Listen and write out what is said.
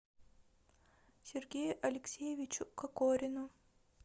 сергею алексеевичу кокорину